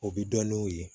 O bi dɔn n'u ye